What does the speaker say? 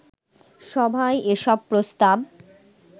সভায় এসব প্রস্তাব